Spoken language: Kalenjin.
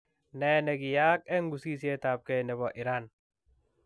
Nee ne kiyaak eng ng'usetab gei ne bo Iran?